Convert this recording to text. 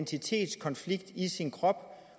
man siger om